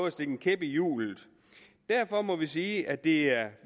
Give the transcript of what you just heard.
at stikke en kæp i hjulet derfor må vi sige at det er